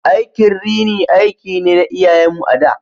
Aikin rini aiki ne na iyayen mu a da.